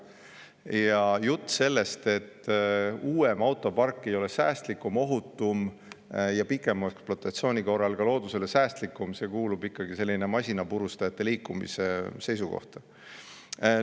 Ja jutt sellest, et uuem autopark ei ole säästlikum, ohutum ja pikema ekspluatatsiooni korral loodusele säästlikum, kuulub masinapurustajate liikumise seisukohtade hulka.